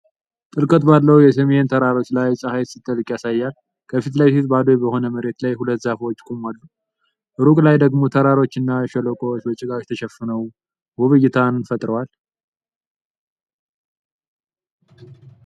ጥልቀት ባለው የሲሚየን ተራሮች ላይ ፀሐይ ስትጠልቅ ያሳያል። ከፊት ለፊት፣ ባዶ በሆነ መሬት ላይ ሁለት ዛፎች ይቆማሉ፤ ሩቅ ላይ ደግሞ ተራሮችና ሸለቆዎች በጭጋግ ተሸፍነው ውብ እይታን ፈጥረዋል።